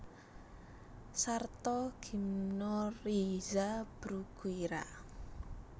Sarta gimnorrhiza Bruguiera